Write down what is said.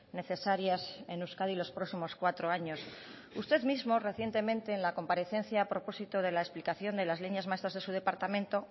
necesarias en euskadi los próximos cuatro años usted mismo recientemente en la comparecencia a propósito de la explicación de las líneas maestras de su departamento